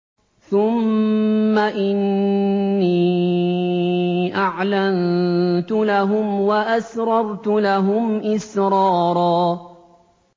ثُمَّ إِنِّي أَعْلَنتُ لَهُمْ وَأَسْرَرْتُ لَهُمْ إِسْرَارًا